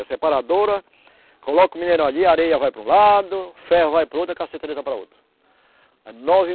A separadora, coloca o mineral ali, a areia vai para um lado, ferro vai para o outro e a cassiterita para o outro. aí nove